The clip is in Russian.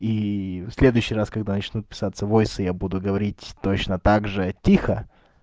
ии в следующий раз когда начнут писаться войса я буду говорить точно так же тихо